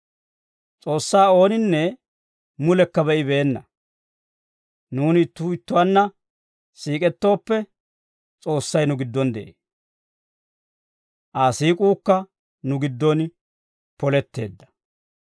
S'oossaa ooninne mulekka be'ibeenna; nuuni ittuu ittuwaanna siik'ettooppe, S'oossay nu giddon de'ee; Aa siik'uukka nu giddon poletteedda.